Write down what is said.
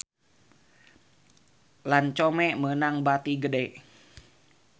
Lancome meunang bati gede